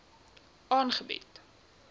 aangebied